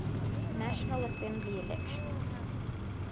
national assembly elections